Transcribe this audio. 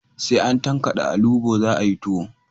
Sai an tankade alubo za a yi tuwo